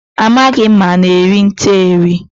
Amaghị m ma ana eri nte eri.